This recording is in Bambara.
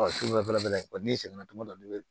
Ɔ sini fɛnɛ n'i seginna tuma dɔ la i bɛ